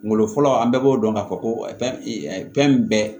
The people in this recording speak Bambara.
Kungolo fɔlɔ an bɛɛ b'o dɔn ka fɔ ko fɛn min bɛɛ